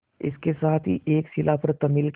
इसके साथ ही एक शिला पर तमिल के